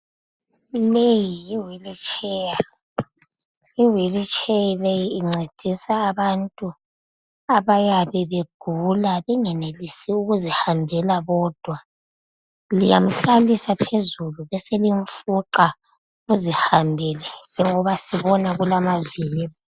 Leyi yi wheelchair, iwheelchair leyi incedisa abantu abayabe begula bengenelisi ukuzihambela bodwa. Liyamhlalisa phezulu beselimfuqa azihambele njengoba sibona kulamavili